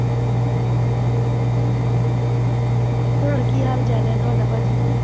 ਹੋਰ ਕੀ ਹਾਲ ਚਾਲ ਹੈ ਤੁਹਾਡਾ ਭਾਜੀ?